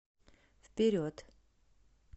вперед